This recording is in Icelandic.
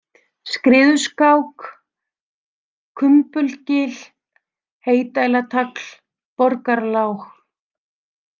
Skriðuskák, Kumbulgil, Heydælartagl, Borgarlág